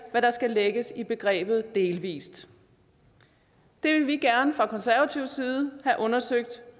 hvad der skal lægges i begrebet delvis det vil vi gerne fra konservativ side have undersøgt